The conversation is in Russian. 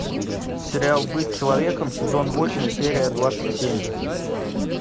сериал быть человеком сезон восемь серия двадцать семь